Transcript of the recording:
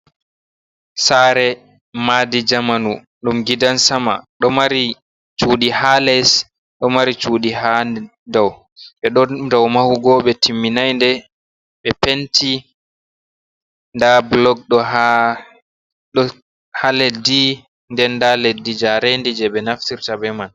Saare madi jamanu ɗum gidan sama, ɗo mari shudi ha les ɗo mari shudi ha daw, ɓeɗo dow mahugo ɓe timminai nde, ɓe penti nda blog ɗo ha leddi nden nda leddi njarendi je ɓe naftirta be man.